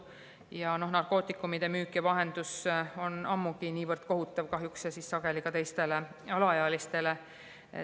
Ja narkootikumide müük ja vahendus on niivõrd kohutav ja sageli ka vahendatakse neid teistele alaealistele.